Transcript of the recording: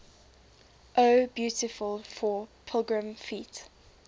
o beautiful for pilgrim feet